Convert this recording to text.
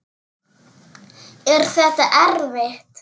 Er þetta erfitt?